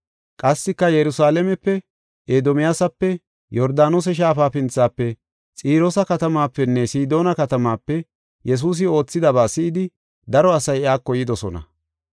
Qassika Yerusalaamepe, Edomiyaasape, Yordaanose Shaafa pinthafe, Xiroosa katamaapenne Sidoona katamaape Yesuusi oothidaba si7idi, daro asay iyako yidosona.